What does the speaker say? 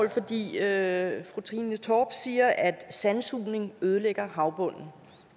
det er spørgsmål fru trine torp siger at sandsugning ødelægger havbunden